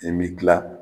I bɛ kila